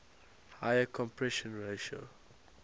higher compression ratio